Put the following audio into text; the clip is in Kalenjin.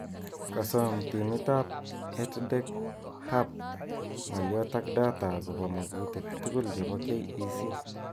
Kasom timit ab EdTech Hub ng'alyot ak data akobo makutik tugul chebo KEC